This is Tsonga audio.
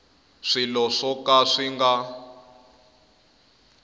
swilo swo ka swi nga